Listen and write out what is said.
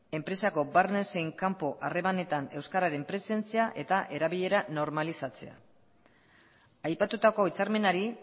enpresako barne zein kanpo harremanetan euskararen presentzia eta erabilera normalizatzea aipatutako hitzarmenari